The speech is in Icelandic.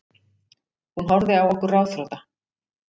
Hún horfði á okkur ráðþrota.